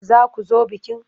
Za ku zo bikin?